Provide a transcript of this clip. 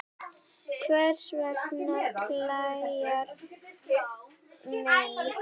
Hvers vegna klæjar mann?